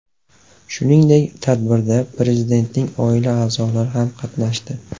Shuningdek, tadbirda Prezidentning oila a’zolari ham qatnashdi.